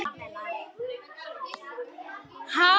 Fram undan ljósir tímar.